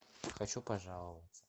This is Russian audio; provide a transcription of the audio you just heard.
хочу пожаловаться